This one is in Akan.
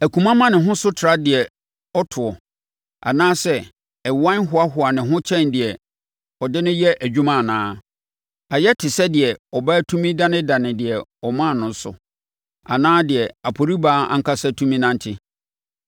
Akuma ma ne ho so tra deɛ ɔtoɔ? Anaasɛ ɛwan hoahoa ne ho kyɛn deɛ ɔde no yɛ adwuma anaa? Ayɛ te sɛ deɛ abaa tumi danedane deɛ ɔmaa no so, anaa sɛ aporibaa ankasa tumi nante!